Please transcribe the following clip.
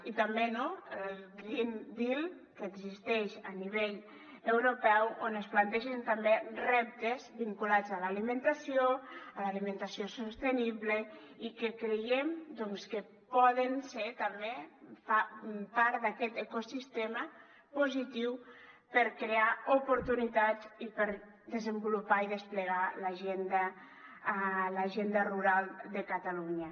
i també no el green deal que existeix a nivell europeu on es plantegen també reptes vinculats a l’alimentació a l’alimentació sostenible i que creiem doncs que poden ser també part d’aquest ecosistema positiu per crear oportunitats i per desenvolupar i desplegar l’agenda rural de catalunya